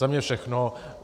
Za mě všechno.